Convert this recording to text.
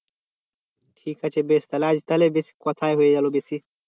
ঠিক আছে বেশ তাহলে আজ তাহলে বেশ কথাই হয়ে গেল বেশি